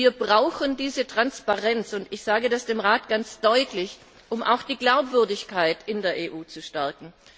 Wir brauchen diese Transparenz und ich sage das dem Rat ganz deutlich um auch die Glaubwürdigkeit in der EU zu stärken.